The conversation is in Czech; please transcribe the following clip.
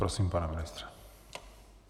Prosím, pane ministře.